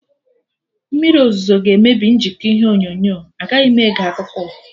Mmriri ọzụzụ ga emebi njikọ ihe onyonyo, agaghị m ege akụkọ ụwa